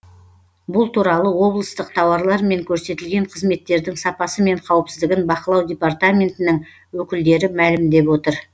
бұл туралы облыстық тауарлар мен көрсетілген қызметтердің сапасы мен қауіпсіздігін бақылау департаментінің өкілдері мәлімдеп отыр